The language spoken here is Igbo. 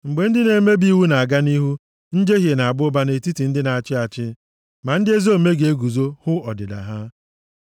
Mgbe ndị na-emebi iwu na-aga nʼihu, njehie na-aba ụba nʼetiti ndị a na-achị achị, ma ndị ezi omume ga-eguzo hụ ọdịda ha.